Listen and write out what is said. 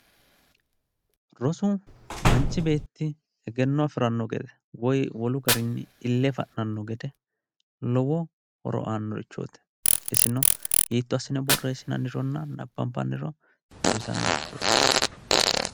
rosu manchi beetti egenno afiranno gede woyi wole doogonni ille fa'nanno gede lowo horoaannorichooti isino hiitto assine borreessinanironna nabbanbaniro xawisannorichooti.